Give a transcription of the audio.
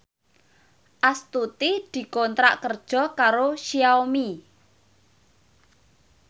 Astuti dikontrak kerja karo Xiaomi